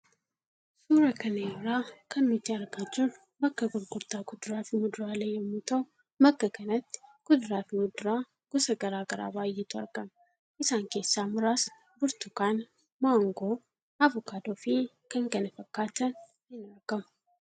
Suura kana irraa kan nuti argaa jirru bakka gurgurtaa kuduraa fi muduraalee yemmuu tahu bakka kanatti kuduraafi muduraa gosa garaagaraa baayeetu argama. Isaan keessaa muraasni burtukaana, maangoo, avokaadoo fi k.k.f'n in argamu